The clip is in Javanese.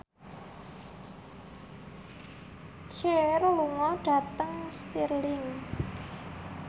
Cher lunga dhateng Stirling